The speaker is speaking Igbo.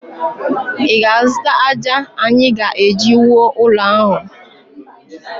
Ị ga-azụta ájá anyị ga-eji wuo ụlọ ahụ?